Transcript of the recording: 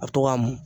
A bɛ to ka mun